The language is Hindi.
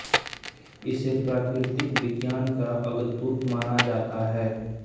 इसे प्राकृतिक विज्ञान का अग्रदूत माना जाता है